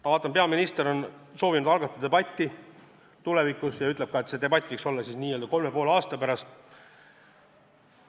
Ma vaatan, et peaminister soovib algatada tulevikus debatti ja ütleb ka, et see debatt võiks olla siis n-ö kolme ja poole aasta pärast.